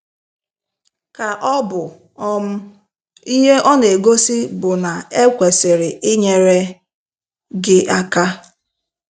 Ka ọbụ um ihe ọ na-egosi bụ na-ekwesịrị inyere gị aka?